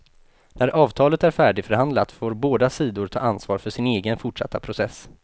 När avtalet är färdigförhandlat får båda sidor ta ansvar för sin egen fortsatta process.